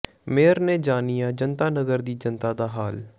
mayor ਨੇ ਜਾਣਿਆ ਜਨਤਾ ਨਗਰ ਦੀ ਜਨਤਾ ਦਾ ਹਾਲ